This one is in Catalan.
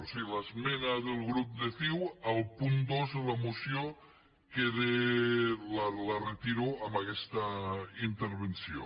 o sigui l’esmena del grup de ciu al punt dos de la moció la retiro amb aquesta intervenció